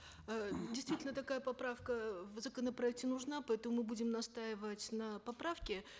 э действительно такая поправка э в законопроекте нужна поэтому мы будем настаивать на поправке